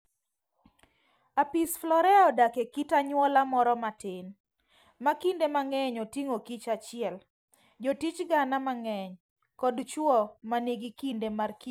Apis florea odak e kit anyuola moro matin, ma kinde mang'eny oting'o kich achiel, jotich gana mang'eny, kod chwo ma nigi kinde markich